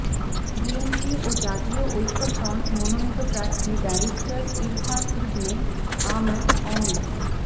BNP ও জাতীয় ঐক্যফ্রন্ট মনোনীত প্রার্থী ব্যারিস্টার ইরফান ইবনে আমান অমি